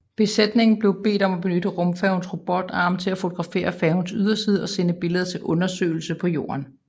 Besætningen blev bedt om at benytte rumfærgens robotarm til at fotografere færgens yderside og sende billederne til undersøgelse på jorden